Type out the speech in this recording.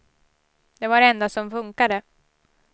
Det var det enda som funkade.